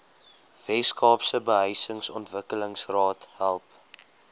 weskaapse behuisingsontwikkelingsraad help